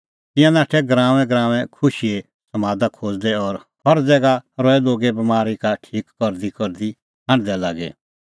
तिंयां नाठै गराऊंऐंगराऊंऐं खुशीए समादा खोज़दै और हर ज़ैगा रहै लोगे बमारी का ठीक करदीकरदी हांढदै लागी